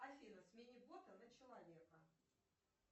афина смени бота на человека